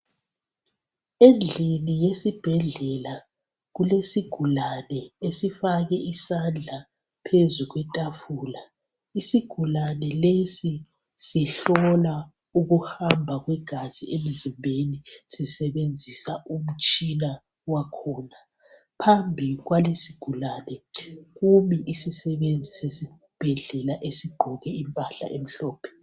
Endlini yesibhedlela kulesigulane esifake isandla phezu kwetafula isigulane lesi sihlola ukuhamba kwegazi emzimbeni sisebenzisa umtshina wakhona phambi kwalesi sigulane kumi isisebenzi sesibhedlela esigqoke impahla emhlophe.